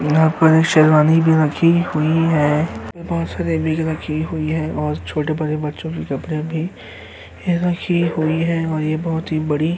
यहाँ पर शेरवानी भी रखी हुई है। बोहोत सारी रखी हुई हैं और छोटे-बड़े बच्चों के कपड़े भी रखे हुए हैं और यह बोहोत ही बड़ी --